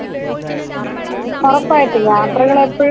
ഒറപ്പായിട്ടും യാത്രകളെപ്പഴും അങ്ങനെയാണല്ലോ.